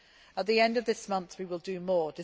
At the end of this month we shall do more.